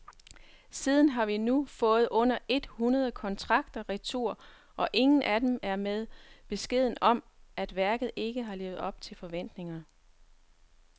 Siden har vi fået under et hundrede kontrakter retur, og ingen af dem er med beskeden om, at værket ikke har levet op til forventningerne.